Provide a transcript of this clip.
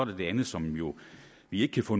det andet som vi jo ikke kan få